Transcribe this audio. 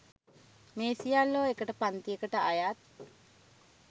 මේ සියල්ලෝ එකම පංතියකට අයත්